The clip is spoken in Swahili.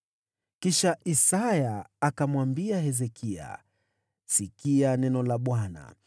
Ndipo Isaya akamwambia Hezekia, “Sikia neno la Bwana :